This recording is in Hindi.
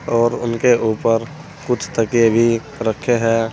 और उनके ऊपर कुछ तकिए भी रखे हैं।